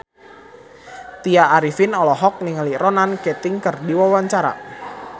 Tya Arifin olohok ningali Ronan Keating keur diwawancara